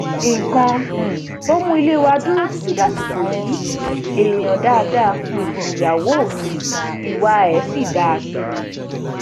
nǹkan um tó mú ilé wa dúró títí dàsìkò yìí èèyàn dáadáa um nìyàwó mi ìwà ẹ dáa sí mi